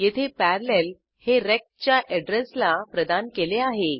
येथे पॅरालेल हे रेक्ट च्या अॅड्रेसला प्रदान केले आहे